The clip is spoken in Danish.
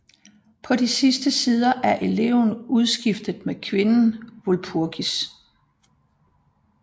På de sidste sider er eleven udskiftet med kvinden Walpurgis